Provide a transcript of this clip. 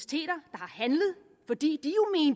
der har handlet fordi